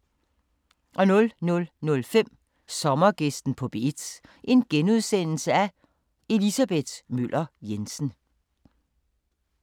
00:05: Sommergæsten på P1: Elisabeth Møller Jensen *